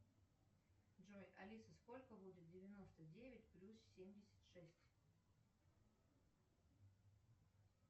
джой алиса сколько будет девяносто девять плюс семьдесят шесть